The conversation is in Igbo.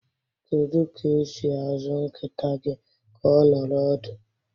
Kedu ka esi azụ nkịta gị ka ọ nọrọ ọdụ?